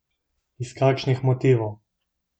Iz kakšnih motivov?